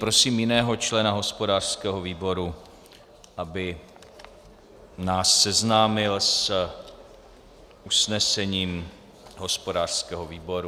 Prosím jiného člena hospodářského výboru, aby nás seznámil s usnesením hospodářského výboru.